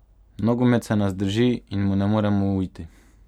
Nogomet se nas drži in mu ne moremo uiti.